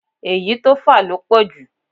Èyí tó fà ló pọ̀jù